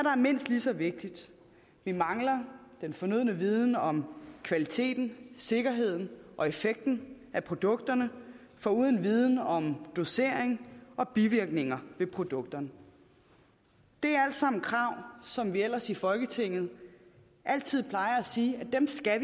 er mindst lige så vigtigt vi mangler den fornødne viden om kvaliteten sikkerheden og effekten af produkterne foruden viden om dosering og bivirkninger ved produkterne det er alt sammen krav som vi ellers i folketinget altid plejer at sige vi skal